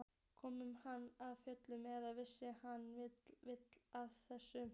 Kom hann af fjöllum eða virtist hann vita af þessu?